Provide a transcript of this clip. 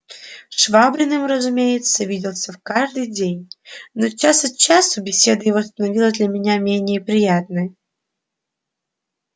швабриным разумеется виделся в каждый день но час от часу беседа его становилась для меня менее приятной